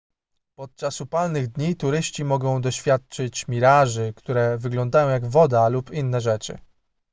podczas upalnych dni turyści mogą doświadczyć miraży które wyglądają jak woda lub inne rzeczy